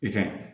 I ka ɲi